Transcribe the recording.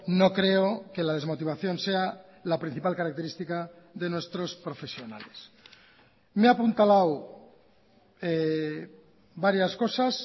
no creo que la desmotivación sea la principal característica de nuestros profesionales me he apuntalado varias cosas